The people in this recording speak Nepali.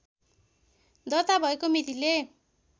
दर्ता भएको मितिले